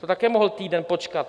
To také mohl týden počkat.